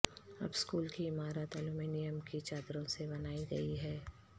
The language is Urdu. اب سکول کی عمارت الومینیم کی چادروں سے بنائی گئی ہے